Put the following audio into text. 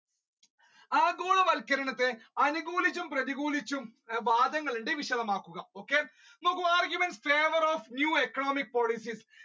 ആഗോളവത്ക്കരണത്തെ അനുകൂലിച്ചും പ്രതികൂലിച്ചും വാദങ്ങൾ ഉണ്ട് വിശദമാക്കുക okay നോക്കൂ arguments favour of new economic policies